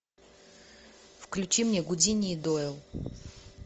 включи мне гудини и дойл